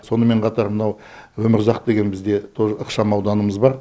сонымен қатар мынау өмірұзақ деген бізде тоже ықшам ауданымыз бар